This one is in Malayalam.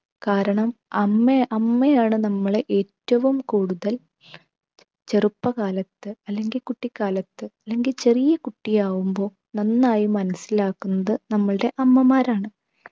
കാരണം അമ്മയെ അമ്മയാണ് നമ്മളെ ഏറ്റവും കൂടുതൽ ചെറുപ്പകാലത്ത് അല്ലെങ്കിൽ കുട്ടിക്കാലത്ത് അല്ലെങ്കിൽ ചെറിയ കുട്ടി ആവുമ്പൊ നന്നായി മനസിലാക്കുന്നത് നമ്മളുടെ അമ്മമാരാണ്